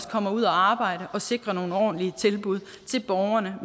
kommer ud at arbejde og sikrer nogle ordentlige tilbud til borgerne